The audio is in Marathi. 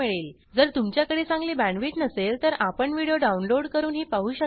जर तुमच्याकडे चांगली बॅण्डविड्थ नसेल तर आपण व्हिडिओ डाउनलोड करूनही पाहू शकता